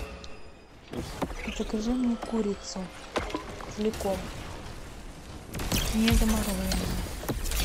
закажи мне курицу целиком не замороженную